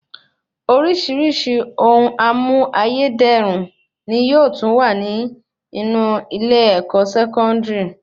Orísirísi ohun amú ayé dẹrùn ni yóò tún wà nínú ilé-ẹ̀kọ́ Sẹkọndiri